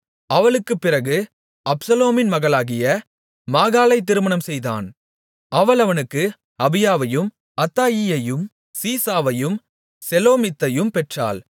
அவளுக்குப்பிறகு அப்சலோமின் மகளாகிய மாகாளைத் திருமணம்செய்தான் அவள் அவனுக்கு அபியாவையும் அத்தாயியையும் சீசாவையும் செலோமித்தையும் பெற்றாள்